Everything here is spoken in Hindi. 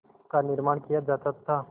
का निर्माण किया जाता था